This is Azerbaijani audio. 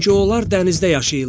Çünki onlar dənizdə yaşayırlar.